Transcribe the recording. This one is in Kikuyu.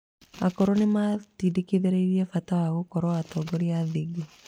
Akũrũ nĩ maatĩndĩkĩrĩirie bata wa gũkorwo atongoria athingu.